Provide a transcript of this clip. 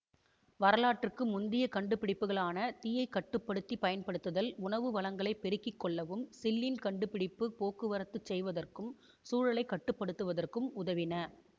வரலாற்றுக்கு முந்திய கண்டுபிடிப்புக்களான தீயை கட்டுப்படுத்திப் பயன்படுத்தல் உணவு வளங்களை பெருக்கி கொள்ளவும் சில்லின் கண்டுபிடிப்பு போக்குவரத்து செய்வதற்கும் சூழலை கட்டு படுத்துவதற்கும் உதவின